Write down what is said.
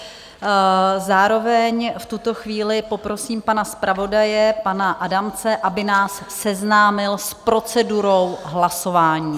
Zároveň v tuto chvíli poprosím pana zpravodaje, pana Adamce, aby nás seznámil s procedurou hlasování.